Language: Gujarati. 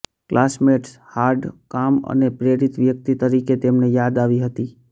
ક્લાસમેટ્સ હાર્ડ કામ અને પ્રેરિત વ્યક્તિ તરીકે તેમને યાદ આવી હતી